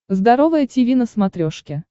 здоровое тиви на смотрешке